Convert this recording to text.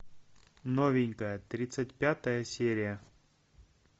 новенькая тридцать пятая серия